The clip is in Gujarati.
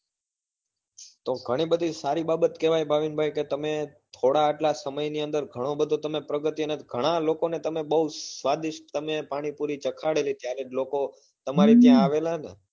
તો ઘણી બધી સારી બાબત કેવાય ભાવિન ભાઈ કે તમે થોડા આટલા સમય ની અંદર ઘણો બધો પ્રગતિ ને ઘણાં લોકો ને તમે બઉ સ્વાદીસ્ત પાણીપુરી ચાખાડેલી ત્યારે જ લોકો તમારે ત્યાં આવેલા ને